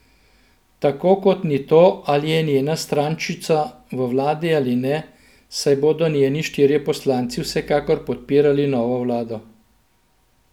Tako kot ni to, ali je njena strančica v vladi ali ne, saj bodo njeni štirje poslanci vsekakor podpirali novo vlado.